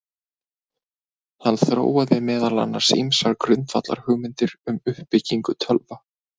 Hann þróaði meðal annars ýmsar grundvallarhugmyndir um uppbyggingu tölva.